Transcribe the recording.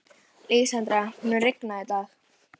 Lísandra, mun rigna í dag?